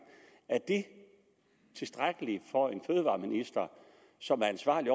er det tilstrækkeligt for en fødevareminister som er ansvarlig